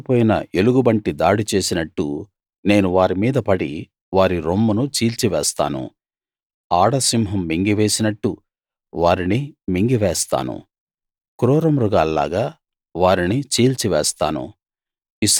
పిల్లలు పోయిన ఎలుగుబంటి దాడి చేసినట్టు నేను వారి మీద పడి వారి రొమ్మును చీల్చివేస్తాను ఆడసింహం మింగివేసినట్టు వారిని మింగివేస్తాను క్రూరమృగాల్లాగా వారిని చీల్చివేస్తాను